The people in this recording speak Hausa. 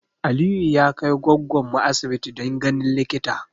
Aliyu ya kai goggon mu asibiti don ganin likita